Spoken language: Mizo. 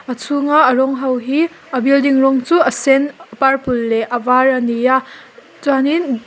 a chhunga a rawng ho hi a building rawng chu a sen purple leh a var ani a chuanin.